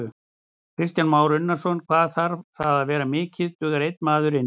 Kristján Már Unnarsson: Hvað þarf það að vera mikið, dugar einn maður inn?